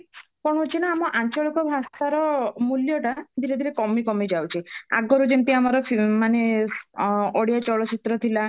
କଣ ହାଉଛି ନା ଆମ ଆଞ୍ଚଳିକ ଭାଷାର ମୂଲ୍ୟଟା ଧୀରେ ଧୀରେ କମି କମି ଯାଉଛି ଆଗରୁ ଯେମତି ଆମର ମାନେ ଅ ଓଡିଆ ଚଳଚିତ୍ର ଥିଲା